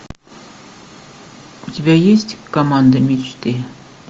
у тебя есть команда мечты